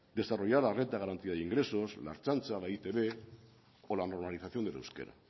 desarrollar la renta de garantía de ingresos la ertzaintza la e i te be o la normalización del euskera